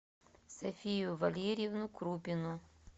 софию валерьевну крупину